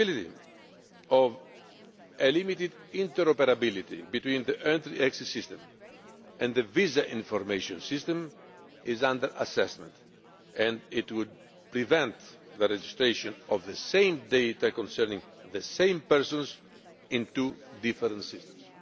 The possibility of limited interoperability between the entry exit system and the visa information system is under assessment it would prevent registration of the same data concerning the same persons in two different systems.